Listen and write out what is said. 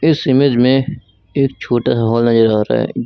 इस इमेज में एक छोटा सा हॉल नजर आ रहा है।